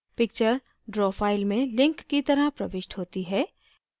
picture draw file में link की तरह प्रविष्ट होती है